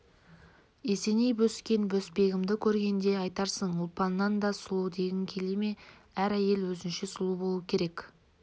есеней бөскен-бөспегенімді көргенде айтарсың ұлпаннан да сұлу дегің келе ме әр әйел өзінше сұлу болу керек